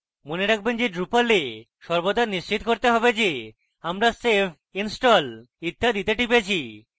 মনে রাখবেন drupal we সর্বদা নিশ্চিত করতে have যে আমরা save install ইত্যাদিতে টিপেছি